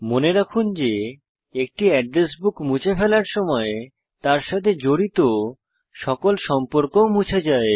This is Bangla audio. মনে রাখুন যে একটি এড্রেস বুক মুছে ফেলার সময় তার সাথে জড়িত সকল সম্পর্কও মুছে যায়